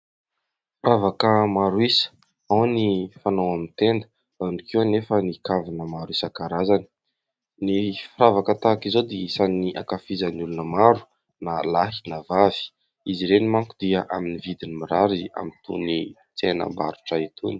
Firavaka maro isa, ao ny fanao amin'ny tenda, ao koa anefa ny kavina maro isan-karazany. Ny firavaka tahaka izao dia isan'ny ankafizan'ny olona maro na lahy na vavy. Izy ireny manko dia amin'ny vidiny mirary amin'itony tsenam-barotra itony.